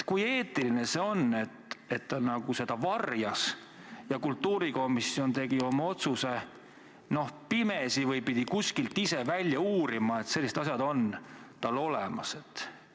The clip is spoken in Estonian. Kui eetiline see on, et ta seda varjas ja lasi kultuurikomisjonil teha otsuse pimesi või lasi komisjonil ise kuskilt välja uurida, et sellised asjad on tal olemas?